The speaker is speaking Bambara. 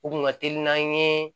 U kun ka teli n'an ye